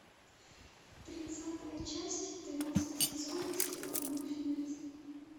тридцатая часть тринадцатый сезон сериала домашний арест